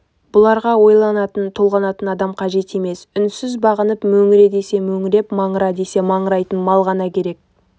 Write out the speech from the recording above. бұларға ойланатын-толғанатын адам қажет емес үнсіз бағынып мөңіре десе мөңіреп маңыра десе маңырайтын мал ғана керек